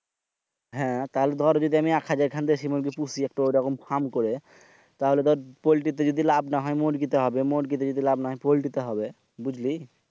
হ্যাঁ তাহলে দর আমি যদি হাজার খান দেশি মুরগী পৌষি এই রকম ফার্ম করে তাহলে দর পল্টিতে যদি লাভ না হয় মুরগী তে হবে। মুরগিতে যদি লাভ না পল্টিতে হবে। বুঝলি?